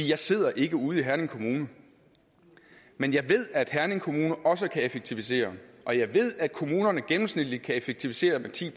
jeg sidder ikke ude i herning kommune men jeg ved at herning kommune også kan effektivisere og jeg ved at kommunerne gennemsnitligt kan effektivisere med ti